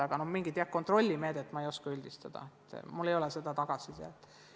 Kuid mingit kontrollimeedet ei oska ma öelda, mul ei ole selle kohta tagasisidet.